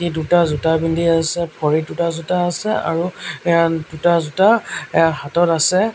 দুটা জোতা পিন্ধি আছে ভৰিত দুটা জোতা আছে আৰু এয়া দুটা জোতা এয়া হাতত আছে।